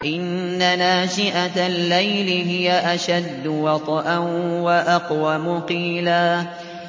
إِنَّ نَاشِئَةَ اللَّيْلِ هِيَ أَشَدُّ وَطْئًا وَأَقْوَمُ قِيلًا